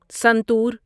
santoor